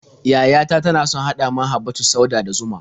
Yaya ta tana son haɗa man habbatus sauda da zuma.